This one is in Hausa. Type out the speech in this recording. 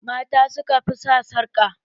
Mata suka fi sa sarƙa